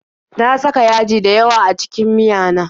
Na saka yaji dayawa a cikin miyana